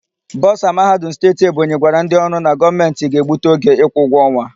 Bọsa Mahadum Steeti Ebonyi gwara ndị ọrụ na Gọọmentị ga-egbutu oge ịkwụ ụgwọ ọnwa.